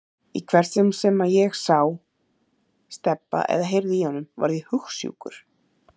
Í hvert sinn sem ég sá Stebba eða heyrði í honum varð ég hugsjúkur.